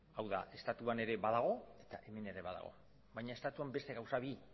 hau da estatuan ere badago eta hemen ere badago baina estatuan beste gauza bi